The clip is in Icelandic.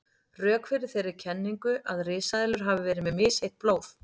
Rök fyrir þeirri kenningu að risaeðlur hafi verið með misheitt blóð.